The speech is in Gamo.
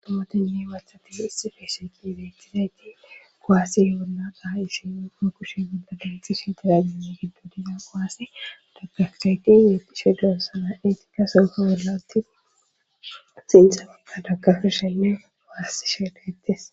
Omotenne wathati issifeesheqi beetizayti goaassi yoolla qa ha ishenno ma kushe gondagati sheetera gezane giddo dizaa qoassi dagkafisayqin yeeqishe dilosana etikka sonfo wollatti sinta maka dagkafi shenne waassi sheedayttes.